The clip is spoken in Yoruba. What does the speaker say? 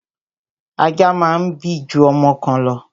Ajá máa ń bí ju ọmọ kan lọ